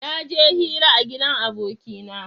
Naje hira a gidan abokina